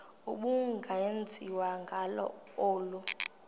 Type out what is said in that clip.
ubungenziwa ngalo olu